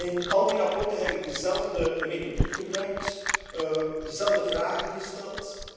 In al die verslagen heb ik dezelfde methodiek gebruikt, dezelfde vragen gesteld.